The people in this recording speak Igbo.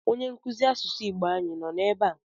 Onye nkụzi asụsụ Igbo ànyị nọ ebe a?